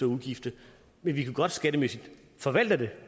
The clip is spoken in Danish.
ugifte men vi kan godt skattemæssigt forvalte det